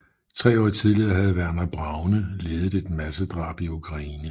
Tre år tidligere havde Werner Braune ledet et massedrab i Ukraine